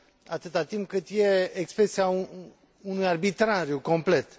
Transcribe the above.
atât timp cât e expresia unui arbitrariu complet.